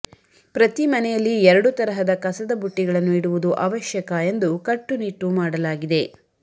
ಪ್ರತಿ ಮನೆಯಲ್ಲಿ ಎರಡು ತರಹದ ಕಸದ ಬುಟ್ಟಿಗಳನ್ನು ಇಡುವುದು ಅವಶ್ಯಕ ಎಂದು ಕಟ್ಟುನಿಟ್ಟು ಮಾಡಲಾಗಿದೆ